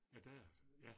Ja der er, ja